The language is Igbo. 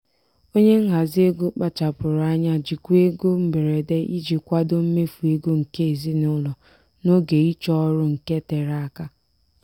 onye nhazi ego kpachapụrụ anya jikwaa ego mberede iji kwadoo mmefu ego nke ezinụlọ n'oge ịchọ ọrụ nke tere aka.